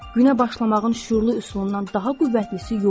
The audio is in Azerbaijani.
Günə başlamağın şüurlu üsulundan daha qüvvətlisi yoxdur.